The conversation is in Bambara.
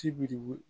Ti biri